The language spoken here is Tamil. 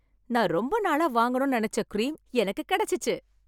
நான் ரொம்ப நாளா வாங்கணும்னு நினைச்ச க்ரீம் எனக்கு கிடைச்சுச்சு.